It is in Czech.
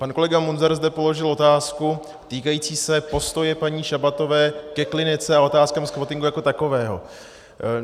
Pan kolega Munzar zde položil otázku týkající se postoje paní Šabatové ke Klinice a otázkám squattingu jako takového.